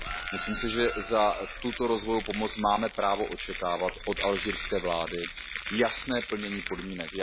Myslím si, že za tuto rozvojovou pomoc máme právo očekávat od alžírské vlády jasné plnění podmínek.